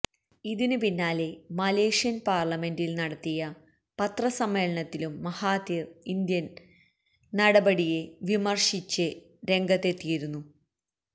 ഇതിന് പിന്നാലെ മലേഷ്യന് പാര്ലമെന്റില് നടത്തിയ പത്രസമ്മേളനത്തിലും മഹാതിര് ഇന്ത്യന് നടപടിയെ വിമര്ശിച്ച് രംഗത്തെത്തിയിരുന്നു